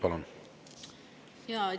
Palun!